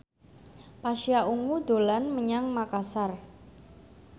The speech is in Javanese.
Pasha Ungu dolan menyang Makasar